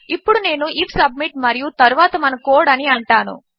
ఇప్పుడునేను IF submit మరియుతరువాతమనకోడ్అనిఅంటాను